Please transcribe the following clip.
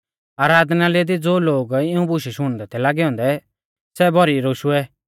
आराधनालय दी ज़ो लोग इऊं बुशु शुणदै थै लागै औन्दै सै भौरी रोशुऐ